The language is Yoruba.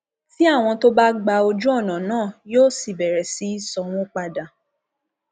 tí àwọn tó bá gba ojú ọnà náà yóò sì bẹrẹ sí í sanwó padà